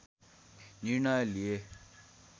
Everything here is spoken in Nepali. निर्णय लिए